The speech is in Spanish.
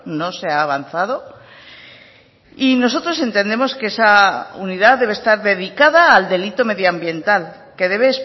no se ha avanzado y nosotros entendemos que esa unidad debe estar dedicada al delito medioambiental que debe